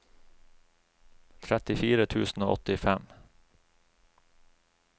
trettifire tusen og åttifem